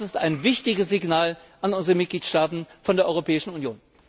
Das ist ein wichtiges Signal an unsere Mitgliedstaaten der Europäischen Union.